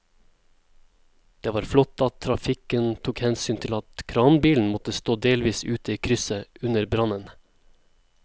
Det var flott at trafikken tok hensyn til at kranbilen måtte stå delvis ute i krysset under brannen.